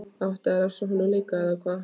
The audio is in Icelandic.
Átti að refsa honum líka, eða hvað?